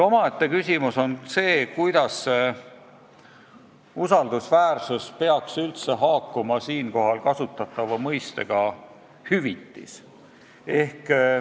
Omaette küsimus on see, kuidas see usaldusväärsus peaks üldse haakuma siinkohal kasutatava mõistega "hüvitis".